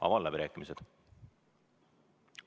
Avan läbirääkimised.